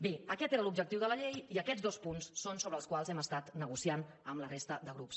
bé aquest era l’objectiu de la llei i aquests són els dos punts sobre els quals hem estat negociant amb la resta de grups